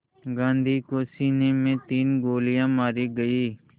गांधी को सीने में तीन गोलियां मारी गईं